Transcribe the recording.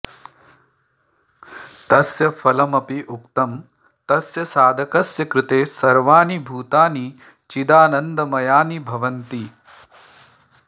तस्य फलमपि उक्तं तस्य साधकस्य कृते सर्वाणि भूतानि चिदानन्दमयानि भवन्ति